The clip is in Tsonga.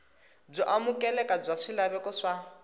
byo amukeleka bya swilaveko swa